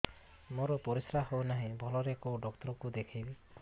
ମୋର ପରିଶ୍ରା ହଉନାହିଁ ଭଲରେ କୋଉ ଡକ୍ଟର କୁ ଦେଖେଇବି